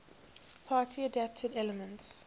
party adapted elements